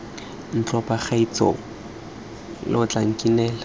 ntlo bagaetsho lo tla nkinela